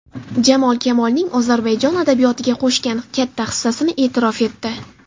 Jamol Kamolning Ozarbayjon adabiyotiga qo‘shgan katta hissasini e’tirof etdi.